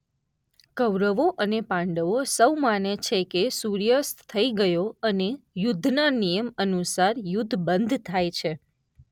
કૌરવો અને પાંડવો સૌ માને છે કે સૂર્યાસ્ત થઈ ગયો અને યુદ્ધના નિયમ અનુસાર યુદ્ધ બંધ થાય છે.